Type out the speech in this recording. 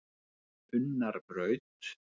Unnarbraut